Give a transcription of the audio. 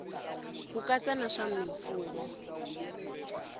ku katsa na swa mimfuwo